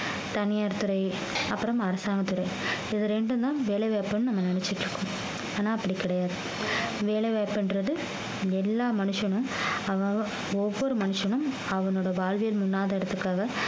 தனியார் துறை அப்புறம் அரசாங்கத்துறை இது ரெண்டும் தான் வேலைவாய்ப்புன்னு நம்ம நினைச்சிட்டு இருக்கோம் ஆனா அப்படி கிடையாது வேலை வாய்ப்புன்றது எல்லா மனுஷனும் அவ~ அவன் ஒவ்வொரு மனுஷனும் அவனோட வாழ்வியல்